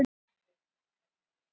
Auðvitað vill hún henni vel.